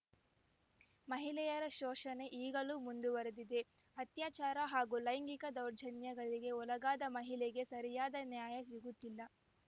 ಮಹಿಳೆಯರ ಶೋಷಣೆ ಈಗಲೂ ಮುಂದುವರೆದಿದೆ ಅತ್ಯಾಚಾರ ಹಾಗೂ ಲೈಂಗಿಕ ದೌರ್ಜನ್ಯಗಳಿಗೆ ಒಳಗಾದ ಮಹಿಳೆಗೆ ಸರಿಯಾದ ನ್ಯಾಯ ಸಿಗುತ್ತಿಲ್ಲ